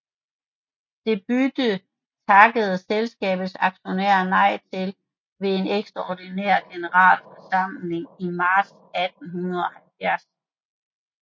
Det bytte takkede selskabets aktionærer nej til ved en ekstraordinær generalforsamling i marts 1870